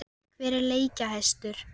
Hver er leikjahæstur?